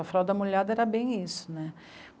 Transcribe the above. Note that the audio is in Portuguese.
A fralda molhada era bem isso, né?